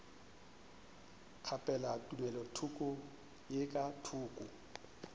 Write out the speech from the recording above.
kgaphela tumelothoko ye ka thoko